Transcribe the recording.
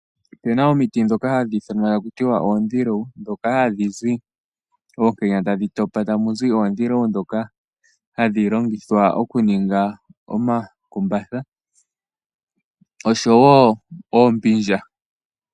Opena omiti ndhoka hadhi ithanwa taku tiwa oondhilewu ndhoka hadhi zi oonkenya tadhi topa tamu zi oondhilewu ndhoka hadhi longithwa okuninga omakumbatha oshowo oombindja.